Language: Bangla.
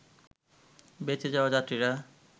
বেঁচে যাওয়া যাত্রীরা